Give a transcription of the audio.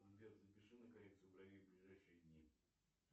сбер запиши на коррекцию бровей в ближайшие дни